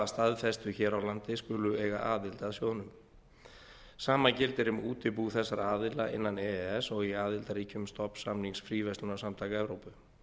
staðfestu hér á landi skulu eiga aðild að sjóðnum sama gildir um útibú þessara aðila innan e e s og í aðildarríkjum stofnsamnings fríverslunarsamtaka evrópu